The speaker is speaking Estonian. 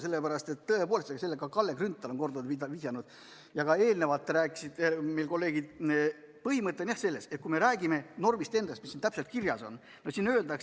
Tõepoolest, see põhimõte – sellele on Kalle Grünthal korduvalt vihjanud ja ka kolleegid rääkinud – on selline, et kui me räägime normist endast, mis siin täpselt kirjas on, siin öeldakse: "[...